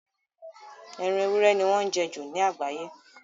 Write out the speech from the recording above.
Ẹran ewúrẹ́ ni wọ́n jẹ ju lágbàáye.